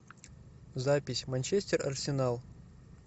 запись манчестер арсенал